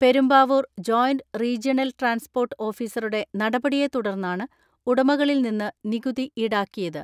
Perumbavoor joint regional transport ഓഫീസറുടെ നടപടിയെ തുടർന്നാണ് ഉടമകളിൽ നിന്ന് നികുതി ഈടാക്കിയത്.